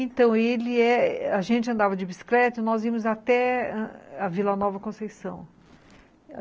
Então, ele é... a gente andava de bicicleta e nós íamos até a Vila Nova Conceição.